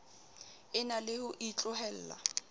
e na le ho itlohella